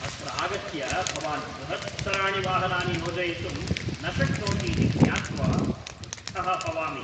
अत्र आगत्य भवान् बृहत्तराणि वाहनानि योजयितुं न शक्नोति इति ज्ञात्वा क्रुद्धः भवामि।